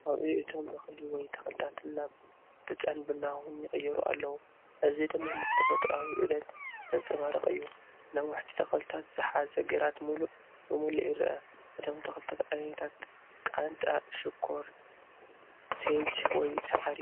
ቀውዒ እቶም እኽሊ ወይ ተኽልታት ናብ ብጫን ቡናውን ይቕየሩ ኣለዉ፣ እዚ ድማ ነቲ ተፈጥሮኣዊ ዑደት ዘንጸባርቕ እዩ። ነዋሕቲ ተኽልታት ዝሓዘ ግራት ምሉእ ብምሉእ ይርአ። እቶም ተኽልታት ዓይነታት ቃንጫ ሽኮር፡ ሴጅ ወይ ሳዕሪ